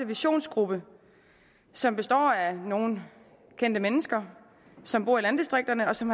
visionsgruppe som består af nogle kendte mennesker som bor i landdistrikterne og som